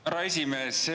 Härra esimees!